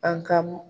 An ka m